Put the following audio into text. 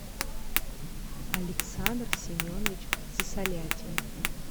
александр семенович сысолятин